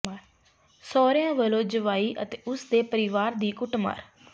ਸਹੁਰਿਆਂ ਵੱਲੋਂ ਜਵਾਈ ਅਤੇ ਉਸ ਦੇੇ ਪਰਿਵਾਰ ਦੀ ਕੁੱਟਮਾਰ